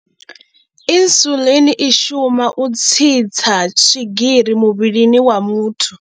Insulin i shuma u tsitsa swigiri muvhilini wa muthu.